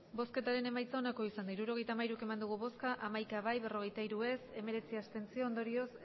hirurogeita hamairu eman dugu bozka hamaika bai berrogeita hiru ez ondorioz